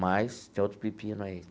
Mas tem outro pepino aí.